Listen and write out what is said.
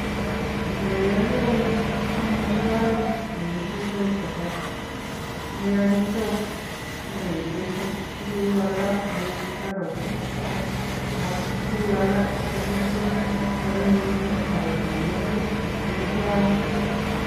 Koroi akere ko amitwokik nekikure chapati nekakichop aketeshi tuguk alak kou carrot ii, ak tuguk alak chekiteshin sikwanyinyit ii akotangusit amitwokichu.